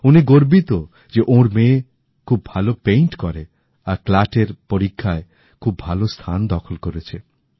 উনি গর্বিত যে ওঁর মেয়ে খুব ভালো ছবি আঁকে আর ক্ল্যাটের পরীক্ষায় খুব ভালো স্থান দখল করেছে